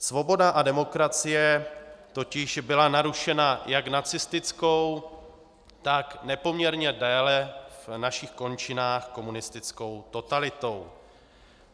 Svoboda a demokracie totiž byla narušena jak nacistickou, tak nepoměrně déle v našich končinách komunistickou totalitou.